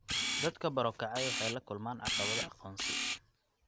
Dadka barokacay waxay la kulmaan caqabado aqoonsi.